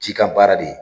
Cikan baara de ye